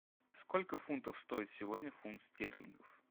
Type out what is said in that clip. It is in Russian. сколько фунтов стоит сегодня фунт стерлингов